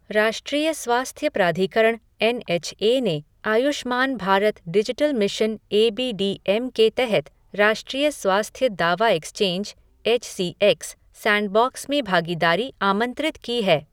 राष्ट्रीय स्वास्थ्य प्राधिकरण एन एच ए ने Ayushman Bharat digital mission A B D M के तहत राष्ट्रीय स्वास्थ्य दावा exchange H C X sandbox में भागीदारी आमंत्रित की है।